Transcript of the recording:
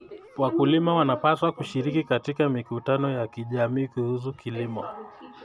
Wakulima wanapaswa kushiriki katika mikutano ya kijamii kuhusu kilimo.